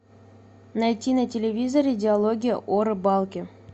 найти на телевизоре диалоги о рыбалке